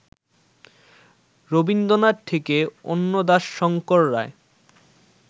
রবীন্দ্রনাথ থেকে অন্নদাশঙ্কর রায়